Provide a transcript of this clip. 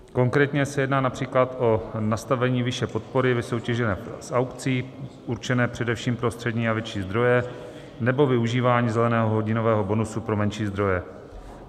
Konkrétně se jedná například o nastavení výše podpory vysoutěžené z aukcí, určené především pro střední a větší zdroje, nebo využívání zeleného hodinového bonusu pro menší zdroje.